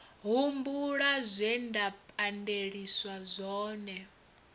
humbula zwe nda pandeliswa zwone